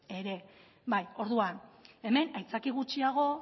ere orduan hemen aitzaki gutxiago